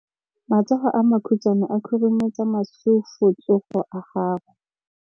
Matsogo a makhutshwane a khurumetsa masufutsogo a gago.